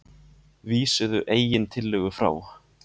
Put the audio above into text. Vísuðu eigin tillögu frá